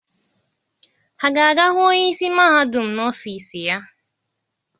Ha ga-aga hụ onye isi mahadum n'ọfiisi ya?